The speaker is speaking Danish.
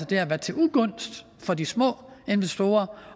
det har været til ugunst for de små investorer